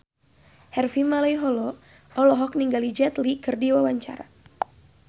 Harvey Malaiholo olohok ningali Jet Li keur diwawancara